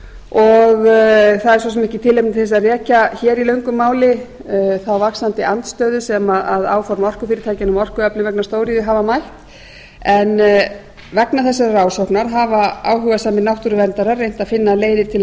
og það er svo sem ekki tilefni til að rekja hér í löngu máli þá vaxandi andstöðu sem áform orkufyrirtækjanna um orkuöflun vegna stóriðju hafa mætt en vegna þessarar ásóknar hafa áhugasamir náttúruverndarar reynt að finna leiðir til